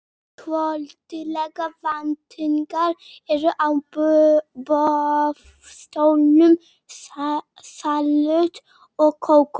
Svolitlar veitingar eru á boðstólum, salöt og kók.